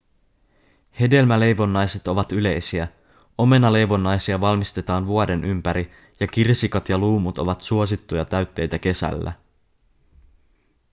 hedelmäleivonnaiset ovat yleisiä omenaleivonnaisia valmistetaan vuoden ympäri ja kirsikat ja luumut ovat suosittuja täytteitä kesällä